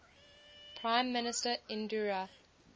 prime minister indira